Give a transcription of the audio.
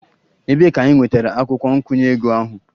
Ebee ka ị nwetara akwukwo nkwụnye ego ahụ?